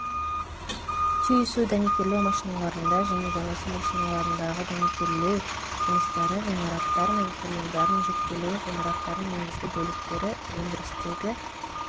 түйісу дәнекерлеу машиналарында және жанасу машиналарындағы дәнекерлеу жұмыстары ғимараттар мен құрылымдардың жіктелуі ғимараттардың негізгі бөліктері өндірістегі